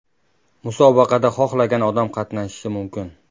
Musobaqada xohlagan odam qatnashishi mumkin.